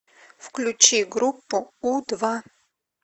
включи группу у два